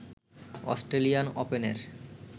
Australian ওপেনের